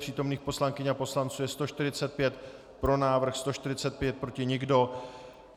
Přítomných poslankyň a poslanců je 145, pro návrh 145, proti nikdo.